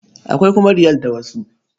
Akwai kuma Riyal da wasu.